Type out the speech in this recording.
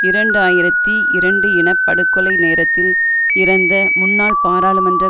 இரண்டு ஆயிரத்தி இரண்டு இன படுகொலை நேரத்தில் இறந்த முன்னாள் பாராளுமன்ற